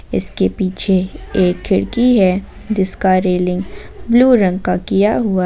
इसके पीछे एक खिड़की है जिसका रेलिंग ब्लू रंग का किया हुआ है।